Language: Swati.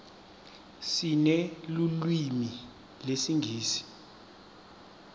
sinelulwimi lesingisi